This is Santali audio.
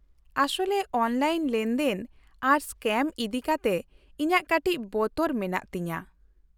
-ᱟᱥᱚᱞᱨᱮ ᱚᱱᱞᱟᱭᱤᱱ ᱞᱮᱱᱫᱮᱱ ᱟᱨ ᱥᱠᱮᱢ ᱤᱫᱤᱠᱟᱛᱮ ᱤᱧᱟᱹᱜ ᱠᱟᱹᱴᱤᱡ ᱵᱚᱛᱚᱨ ᱢᱮᱱᱟᱜ ᱛᱤᱧᱟᱹ ᱾